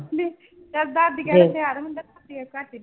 ਦਾਦੀ ਕਹਿੰਦੇ ਤਿਆਰ ਹੁੰਦਾ